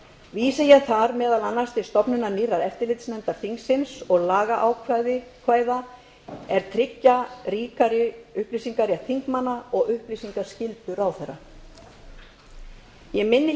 vísa ég þar meðal annars til stofnunar nýrrar eftirlitsnefndar þingsins og lagaákvæða er tryggja ríkari upplýsingarétt þingmanna og upplýsingaskyldu ráðherra ég minni